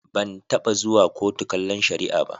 Ban taɓa zuwa kotu kallon shari'a ba.